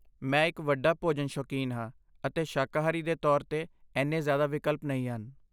ਮੈਂ ਇੱਕ ਵੱਡਾ ਭੋਜਨ ਸ਼ੌਕੀਨ ਹਾਂ ਅਤੇ ਸ਼ਾਕਾਹਾਰੀ ਦੇ ਤੌਰ 'ਤੇ ਇੰਨੇ ਜ਼ਿਆਦਾ ਵਿਕਲਪ ਨਹੀਂ ਹਨ।